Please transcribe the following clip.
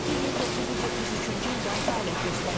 Kollektiv 1973-cü ildən fəaliyyət göstərir.